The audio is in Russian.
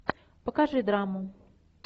покажи драму